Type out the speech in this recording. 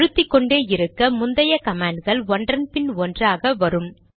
அழுத்திக்கொண்டே இருக்க முந்தைய கமாண்ட்கள் ஒன்றன் பின் ஒன்றாக வரும்